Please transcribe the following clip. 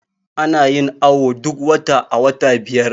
ana yin awo duk wata a wata biyar